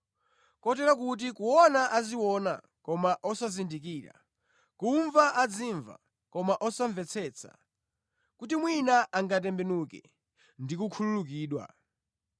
kotero kuti, “ ‘Kupenya mudzapenya koma osaona kanthu, kumva mudzamva koma osamvetsetsa, kuti mwina angatembenuke ndi kukhululukidwa!’ ”